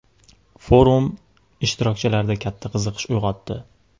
Forum ishtirokchilarda katta qiziqish uyg‘otdi.